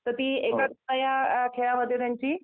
तर ती एकाग्रता या खेळामध्ये त्यांची